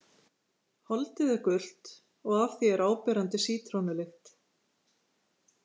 Holdið er gult og af því er áberandi sítrónulykt.